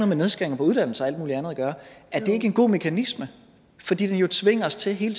med nedskæringer på uddannelse og alt muligt andet at gøre er det ikke en god mekanisme fordi den jo tvinger os til hele